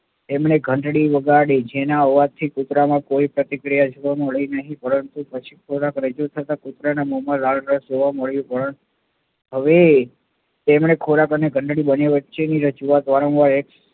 એમણે ઘંટડી વગાડી જેના અવાજ થી કુતરામાં કોઈ પ્રતિક્રિયા જોવા મળી નહિ પરંતુ પછી ખોરાક રજુ થતા કુતરાના મોમાં લાળરસ જોવા મળ્યો હવે તેમણે ખોરાક અને ઘંટડી બંને વચ્ચેની રજૂઆત વારંવાર